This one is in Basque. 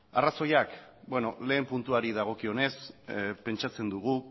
arrazoiak beno lehen puntuari dagokionez pentsatzen dugu